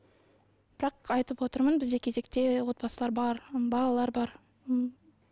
бірақ айтып отырмын бізде кезекте отбасылар бар балалар бар м